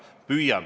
Ma püüan!